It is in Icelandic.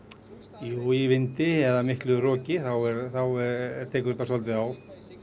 jú í vindi eða miklu roki þá tekur þetta svolítið á